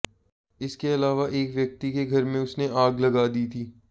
इसके अलावा एक व्यक्ति के घर में उसने आग लगा दी थी